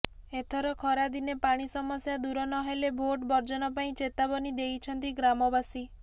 ଏଥର ଖାରଦିନେ ପାଣି ସମସ୍ୟା ଦୂର ନହେଲେ ଭୋଟ ବର୍ଜନ ପାଇଁ ଚେତାବନୀ ଦେଇଛନ୍ତି ଗ୍ରାମବାସୀ